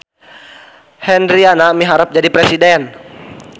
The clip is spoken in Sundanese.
Hendriana miharep jadi presiden